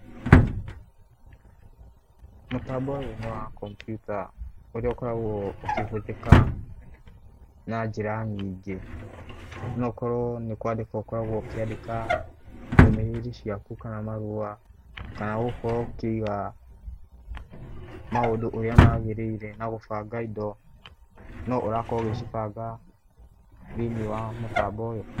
Mũtambo ũyũ nĩ wa kompiuta ũrĩa ũkoragwo ũkĩhũthĩka na njĩra nyingĩ, no ũkorwo nĩ kwandĩka ũkoragwo ũkĩandĩka ndũmĩrĩri ciakũ, kana marũa, kana gũkorwo ũkĩiga maũndũ ũrĩa magĩrĩire na gũbanga indo, no ũrakorwo ũgĩcibanga thĩiniĩ wa mũtambo ũyũ.